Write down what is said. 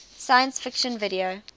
science fiction video